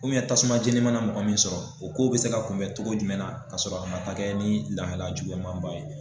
tasuma jeni mana na mɔgɔ min sɔrɔ, o ko bɛ se ka kunbɛn cogo jumɛn na ka sɔrɔ a ma taa ni lahala juguman ba ye.